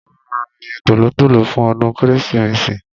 a máa ra ẹyẹ tòlótòló fún ọdún kérésìmesì